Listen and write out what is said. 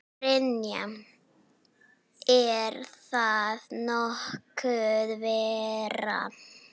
Brynja: Er það nokkuð verra?